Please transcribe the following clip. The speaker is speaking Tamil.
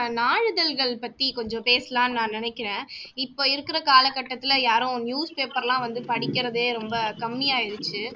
நாளிதழ்கள் பத்தி கொஞ்சம் பேசலாம்னு நான் நினைக்கறேன், இப்போ இருக்குற காலக்கட்டத்துல யாரும் newspaper எல்லாம் வந்து படிக்கறதே ரொம்ப கம்மி ஆயிருச்சு